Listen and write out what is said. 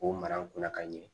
K'o mara n kunna ka ɲɛ